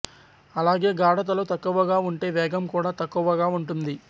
అలాగే గాఢతలు తక్కువగా ఉంటే వేగం కూడా తక్కువగా ఉంటుంది